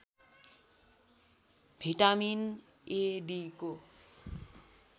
vitamin A डीको